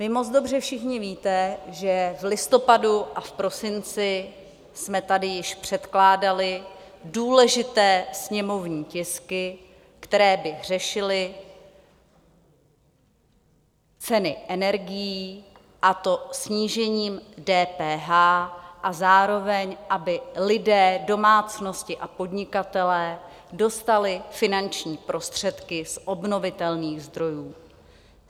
Vy moc dobře všichni víte, že v listopadu a v prosinci jsme tady již předkládali důležité sněmovní tisky, které by řešily ceny energií, a to snížením DPH, a zároveň aby lidé, domácnosti a podnikatelé dostali finanční prostředky z obnovitelných zdrojů.